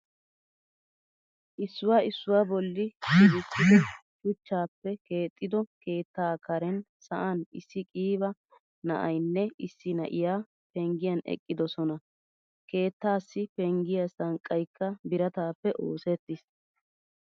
Issuwa issuwa bolli shibisido shuchchappe keexido keetta karen sa'an issi qiiba na'aynne issi na'iyaa penggiyan eqqidosona. Keettassi penggiya sanqqaykka biratappe oosettiis.